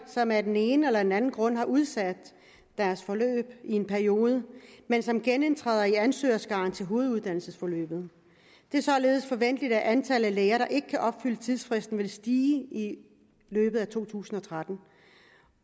som af den en eller den anden grund har udsat deres forløb i en periode men som genindtræder i ansøgerskaren til hoveduddannelsesforløbet det er således forventeligt at antallet af læger der ikke kan opfylde tidsfristen vil stige i løbet af to tusind og tretten